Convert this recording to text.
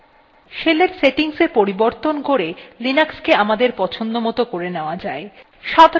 শেলের settings এ পরিবর্তন করে লিনাক্সকে আমাদের পছন্দমত করে নেওয়া যায়